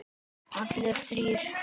Allir þrír?